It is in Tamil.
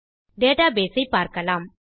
டேட்டாபேஸ் ஐ பார்க்கலாம்